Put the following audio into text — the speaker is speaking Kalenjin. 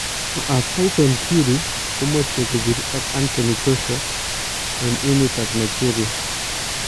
Tyson Fury komache kopir ak Anthony Joshua en emet ab Nigeria